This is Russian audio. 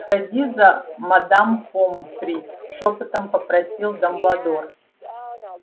сходи за мадам помфри шёпотом попросил дамбладор